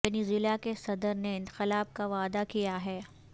Venezuela کے صدر نے انقلاب کا وعدہ کیا ہے